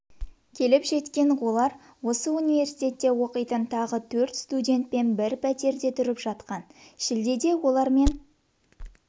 келіп жеткен олар осы университетте оқитын тағы төрт студентпен бір пәтерде тұрып жатқан шілдеде олармен